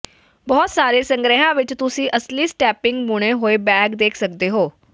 ਬਹੁਤ ਸਾਰੇ ਸੰਗ੍ਰਿਹਾਂ ਵਿੱਚ ਤੁਸੀਂ ਅਸਲੀ ਸਟੈਪਿੰਗ ਬੁਣੇ ਹੋਏ ਬੈਗ ਦੇਖ ਸਕਦੇ ਹੋ